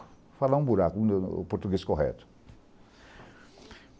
Vou falar um buraco, o português correto.